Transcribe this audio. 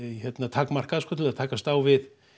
takmarkað til þess að takast á við